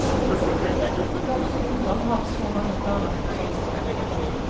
Norsk ungdom har så mange planer for sommeren.